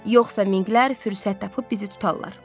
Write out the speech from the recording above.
Yoxsa minklər fürsət tapıb bizi tutarlar.